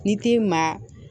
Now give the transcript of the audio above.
Ni t'i ma